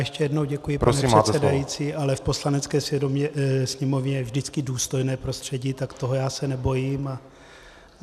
Ještě jednou děkuji, pane předsedající, ale v Poslanecké sněmovně je vždycky důstojné prostředí, tak toho já se nebojím.